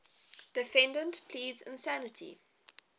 defendant pleads insanity